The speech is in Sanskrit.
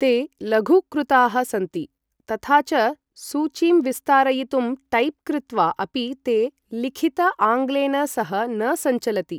ते लघूकृताः सन्ति तथा च सूचीं विस्तारयितुं टैप् कृत्वा अपि ते लिखित आङ्ग्लेन सह न सञ्चलति।